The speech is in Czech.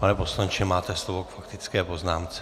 Pane poslanče, máte slovo k faktické poznámce.